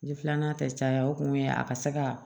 Ni filanan tɛ caya o kun ye a ka se ka